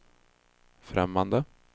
främmande